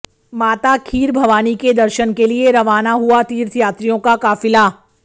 माता खीर भवानी के दर्शन के लिए रवाना हुआ तीर्थयात्रियों का काफिला